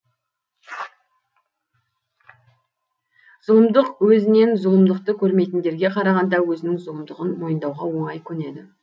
зұлымдық өзінен зұлымдықты көрмейтіндерге қарағанда өзінің зұлымдығын мойындауға оңай көнеді